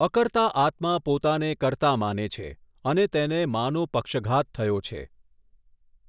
અકર્તા આત્મા પોતાને કર્તા માને છે, અને તેને માનો પક્ષઘાત થયો છે.